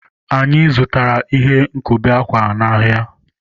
Anyị zụtara ihe nkobe akwa n'ahịa.